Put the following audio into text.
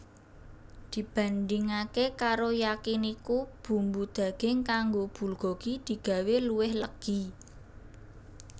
Dibandingaké karo Yakiniku bumbu daging kanggo bulgogi digawé luwih legi